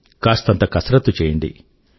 కాస్తంత కసరత్తు చెయ్యండి